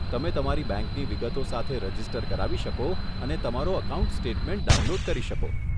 તમે તમારી બેંકની વિગતો સાથે રજીસ્ટર કરાવી શકો અને તમારો એકાઉન્ટ સ્ટેટમેન્ટ ડાઉનલોડ કરી શકો.